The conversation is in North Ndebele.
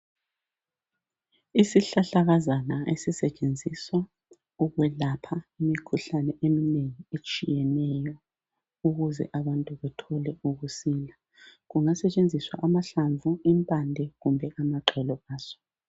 Isihlahlakazana esisetshenziswa ukwelapha imikhuhlane eminengi etshiyeneyo ukuze abantu bathole ukusila. Kungasetshenziswa amahlamvu, impande kumbe amaxolo aso.